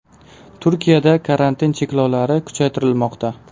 Turkiyada karantin cheklovlari kuchaytirilmoqda.